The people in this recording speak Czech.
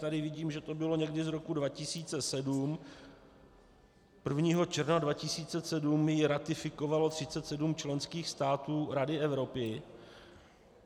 Tady vidím, že to bylo někdy z roku 2007 - 1. června 2007 ji ratifikovalo 37 členských států Rady Evropy.